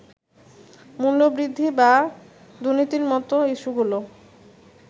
মূল্যবৃদ্ধি বা দুর্নীতির মতো ইস্যুগুলো্